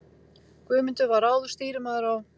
Guðmundur var áður stýrimaður á